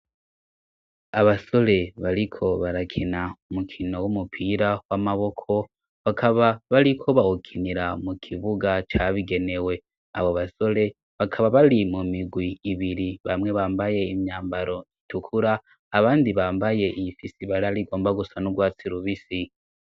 Abasore bariko barakena umukino w'umupira w'amaboko bakaba bariko bawukinira mu kibuga cabigenewe abo basore bakaba bari mu migwi ibiri bamwe bambaye imyambaro itukura abandi bambaye iyi fisi bari ari gomba gusa n'urwatsi rubisi.